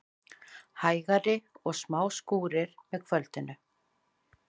Hægari og smá skúrir með kvöldinu